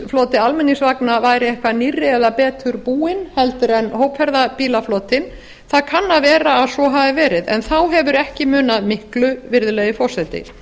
floti almenningsvagna væri eitthvað nýrri eða betur búinn heldur en hópferðabílaflotinn það kann að vera að svo hafi verið en þá hefur ekki með miklu virðulegi forseti